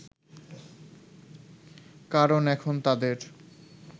কারণ এখন তাদের